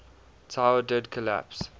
tower did collapse